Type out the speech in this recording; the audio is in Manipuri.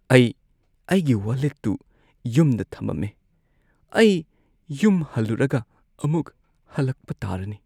ꯑꯩ ꯑꯩꯒꯤ ꯋꯥꯂꯦꯠꯇꯨ ꯌꯨꯝꯗ ꯊꯝꯃꯝꯃꯦ꯫ ꯑꯩ ꯌꯨꯝ ꯍꯜꯂꯨꯔꯒ ꯑꯃꯨꯛ ꯍꯜꯂꯛꯄ ꯇꯥꯔꯅꯤ꯫